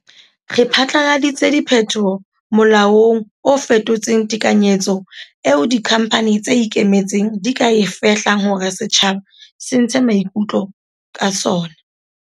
Re phatlaladitse diphetoho molaong o fetotseng tekanyetso eo dikhamphane tse ikemetseng di ka e fehlang hore setjhaba se ntshe maikutlo ka tsona.